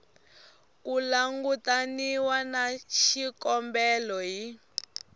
ku langutaniwa na xikombelo hi